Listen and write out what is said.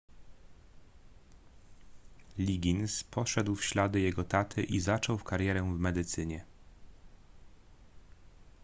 liggins poszedł w ślady jego taty i zaczął karierę w medycynie